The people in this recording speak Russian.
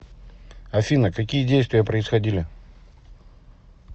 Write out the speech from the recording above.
афина какие действия происходили